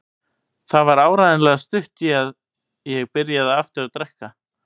Það var áreiðanlega stutt í að ég byrjaði aftur að drekka.